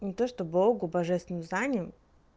не то что богу божественному знанию